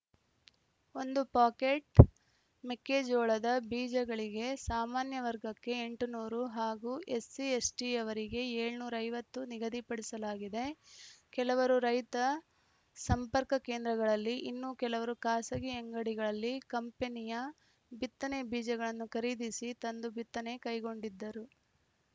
ಒಂದು ಪಾಕೇಟ್‌ ಮೆಕ್ಕೆಜೋಳದ ಬೀಜಗಳಿಗೆ ಸಾಮಾನ್ಯ ವರ್ಗಕ್ಕೆ ಎಂಟುನೂರು ಹಾಗೂ ಎಸ್ಸಿ ಎಸ್ಟಿಯವರಿಗೆ ಏಳುನೂರ ಐವತ್ತು ನಿಗದಿಪಡಿಸಲಾಗಿದೆ ಕೆಲವರು ರೈತ ಸಂಪರ್ಕ ಕೇಂದ್ರಗಳಲ್ಲಿ ಇನ್ನೂ ಕೆಲವರು ಖಾಸಗಿ ಅಂಗಡಿಗಳಲ್ಲಿ ಕಂಪನಿಯ ಬಿತ್ತನೆ ಬೀಜಗಳನ್ನು ಖರೀದಿಸಿ ತಂದು ಬಿತ್ತನೆ ಕೈಗೊಂಡಿದ್ದರು